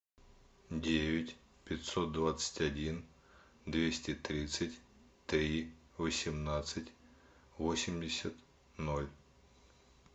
девять пятьсот двадцать один двести тридцать три восемнадцать восемьдесят ноль